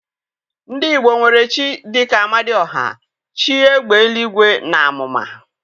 Ndị igbo nwere chi dị ka Amadioha, chi égbè eluigwe na àmụ̀mà.